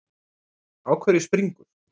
Á hverju springur?